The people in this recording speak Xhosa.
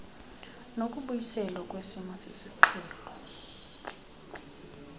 nokubuyiselwa kwesimo sesiqhelo